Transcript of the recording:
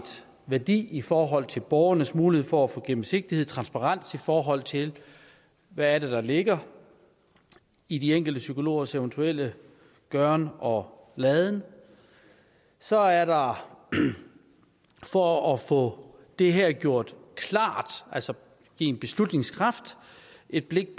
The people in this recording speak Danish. værdi i forhold til borgernes mulighed for at få gennemsigtighed transparens i forhold til hvad der ligger i de enkelte psykologers eventuelle gøren og laden så er der for at få det her gjort klart altså give en beslutningskraft et blik